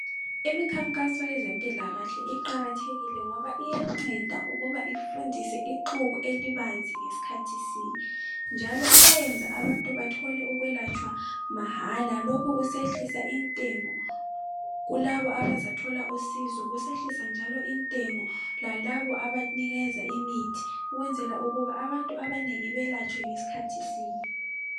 Imikhankaso yezempilakahle iqakathekile ngoba iyanceda ukuba ifundise ixuku elibanzi ngeskhathi sinye njalo iyenza ukuthi abantu bethole ukwelatshwa mahala lokhu kusehlisa intengo kulabo abazathola usizo kusehlisa njalo intengo yalabo abazathola imithi ukwenzela ukuthi abantu abanengi belatshwe ngeskhathi sinye.